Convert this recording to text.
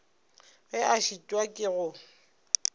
ge a šitwa ke go